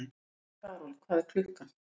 Karol, hvað er klukkan?